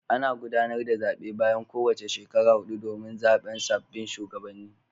Ana gudanar da zabe bayan kowace shekara hudu domin zaben sabbin shugabanni.